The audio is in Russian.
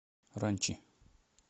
ранчи